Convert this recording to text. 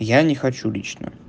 я не хочу лично